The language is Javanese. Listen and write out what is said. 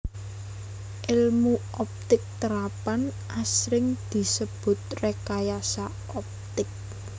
Èlmu optik terapan asring disebut rékayasa optik